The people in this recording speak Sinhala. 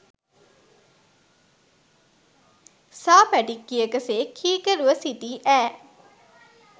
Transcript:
සා පැටික්කියක සේ කීකරුව සිටි ඈ